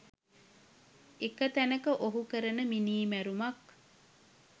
එක තැනක ඔහු කරන මිනීමැරුමක්